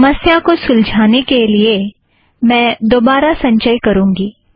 इस समस्या को सुलजाने के लिए मैं दोबारा संचय करुँगी